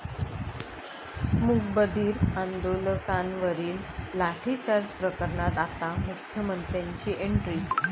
मूकबधीर आंदोलकांवरील लाठीचार्ज प्रकरणात आता मुख्यमंत्र्यांची एंट्री